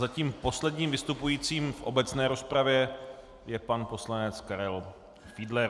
Zatím posledním vystupujícím v obecné rozpravě je pan poslanec Karel Fiedler.